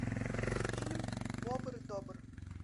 фильм бобр добр